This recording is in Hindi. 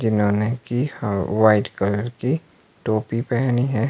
जिन्होंने कि अह व्हाइट कलर की टोपी पहनी है।